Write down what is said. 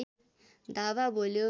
धावा बोल्यो